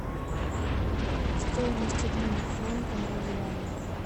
стоимость обмена франка на юани